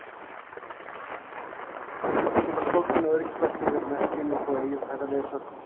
Einnig geta stóllinn og öryggisbeltin verið merki um að þú eigir að taka leiðsögn.